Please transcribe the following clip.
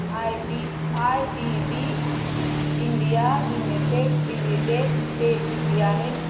ABB India limited dividend pay किती आहे